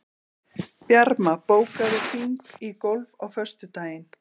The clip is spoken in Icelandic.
Bjarma, bókaðu hring í golf á föstudaginn.